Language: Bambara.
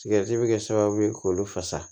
Sigɛriti bi kɛ sababu ye k'olu fasa